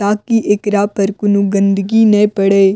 ताकि एकरा पर कौनो गन्दगी नै पड़े।